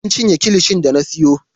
An cinye kilishin da na siyo.